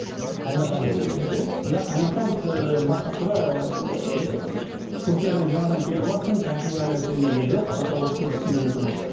қайын атаңыз берген еді иә иә қайын атам ыыы бастапқыда ыыы түркиядан жаңадан келіватсың кәсіп әлі сендерде жоқ пока осы көлікпен жүре тұрыңыз